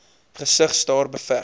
gesig staar beveg